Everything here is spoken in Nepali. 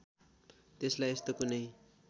त्यसलाई यस्तो कुनै